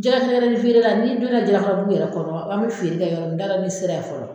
jɛgɛ mɛrɛni feere la n'i don na Jalakɔrɔbugu yɛrɛ kɔrɔ an bɛ feere kɛ yɔrɔ min n t'a dɔ n'i sera ye fɔlɔ.